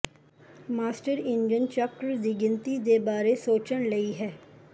master engine ਚੱਕਰ ਦੀ ਗਿਣਤੀ ਦੇ ਬਾਰੇ ਸੋਚਣ ਲਈ ਹੈ